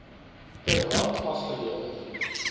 per hand afgelewer